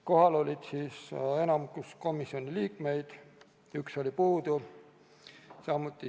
Kohal oli enamik komisjoni liikmeid, üks oli puudu.